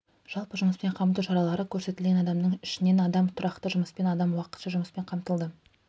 жалпы жұмыспен қамту шаралары көрсетілген адамның ішінен адам тұрақты жұмыспен адам уақытша жұмыспен қамтылды